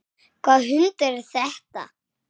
Hvaða hundur er þetta?